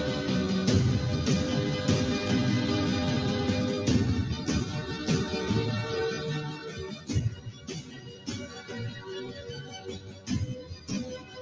अह